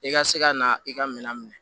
I ka se ka na i ka minɛn minɛ